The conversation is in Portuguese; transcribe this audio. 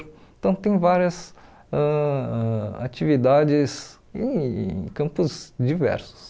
Então, tem várias ãh atividades em campos diversos.